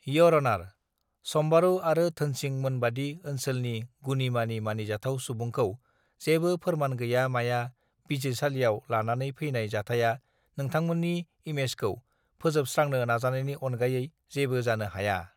year अनार सम्बारू आरो धोनसिं मोनबादि ओन्सोलनि गुनिमानि मानिजाथाव सुबुंखौ जेबो फोरमान गैया माया बिसारसालियाव लानानै फैनाय जाथाया बिथांमोननि इमेजखौ फोजोबस्त्रांनो नाजानायनि अनगायै जेबो जानो हाया